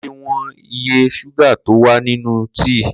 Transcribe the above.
Ko le wọn iye ṣúgà tó wà nínú tíì